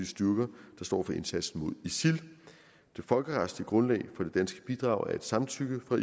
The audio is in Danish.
styrker der står for indsatsen imod isil det folkeretslige grundlag for det danske bidrag er et samtykke fra